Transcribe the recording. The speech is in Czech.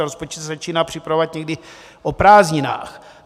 A rozpočet se začíná připravovat někdy o prázdninách.